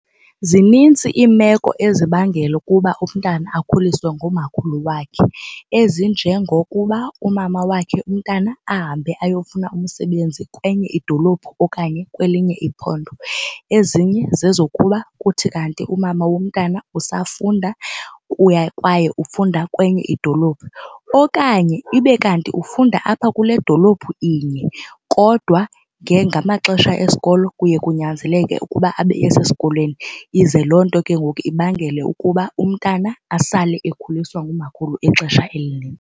Zinintsi iimeko ezibangela ukuba umntana akhuliswe ngumakhulu wakhe ezinjengokuba umama wakhe umntana ahambe ayofuna umsebenzi kwenye idolophu okanye kwelinye iphondo. Ezinye zezokuba kuthi kanti umama womntana usafunda kwaye ufunda kwenye idolophu. Okanye ibe kanti ufunda apha kule dolophu inye kodwa ngamaxesha esikolo kuye kunyanzeleke ukuba abe esesikolweni ize loo nto ke ngoku ibangele ukuba umntana asale ekhuliswa ngumakhulu ixesha .